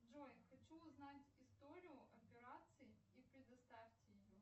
джой хочу узнать историю операций и предоставьте ее